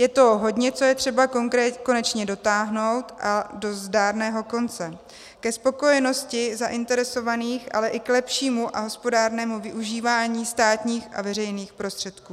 Je toho hodně, co je třeba konečně dotáhnout až do zdárného konce ke spokojenosti zainteresovaných, ale i k lepšímu a hospodárnému využívání státních a veřejných prostředků.